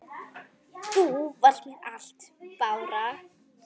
Þú varst mér allt, Bára.